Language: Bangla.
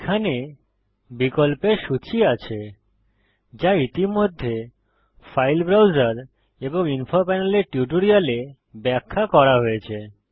এখানে বিকল্পের সূচী আছে যা ইতিমধ্যে ফাইল ব্রাউজার এবং ইনফো প্যানেলের টিউটোরিয়ালে ব্যাখ্যা করা হয়েছে